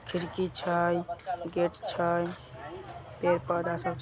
खिड़की छई गेट छई। पेड़ पौधा सब --